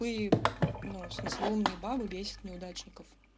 ну и ну в смысле умные бабы бесят неудачников